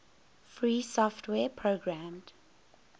free software programmed